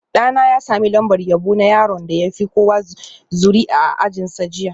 Ɗana ya sami lambar yabo na yaron da ya fi kowa zuri'a a ajinsa jiya